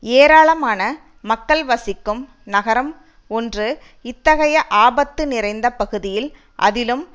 ஏராளமான மக்கள் வசிக்கும் நகரம் ஒன்று இத்தகைய ஆபத்து நிறைந்த பகுதியில் அதிலும்